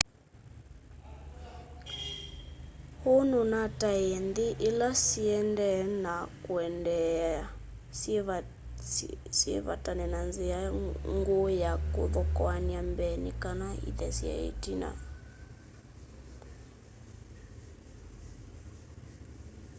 hu nunataie nthi ila siendee na kuendeea syivetane na nzia nguu ya kuthokoany'a mbee nikana ithesye itina